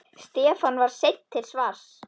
Stefán var seinn til svars.